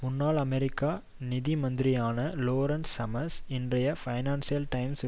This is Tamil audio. முன்னாள் அமெரிக்க நிதி மந்திரியான லோரன்ஸ் சம்மர்ஸ் இன்றைய ஃபைனான்சியல் டைம்சில்